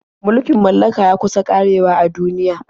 Mulkin mallaka ya kusa ƙarewa a duniya.